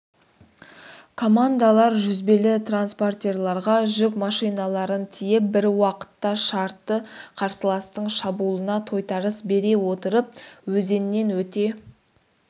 командалар жүзбелі транспортерларға жүк машиналарын тиеп бір уақытта шартты қарсыластың шабуылына тойтарыс бере отырып өзеннен өте